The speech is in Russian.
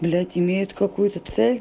блять имеют какую-то цель